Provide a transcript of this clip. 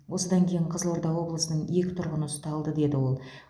осыдан кейін қызылорда облысының екі тұрғыны ұсталды деді ол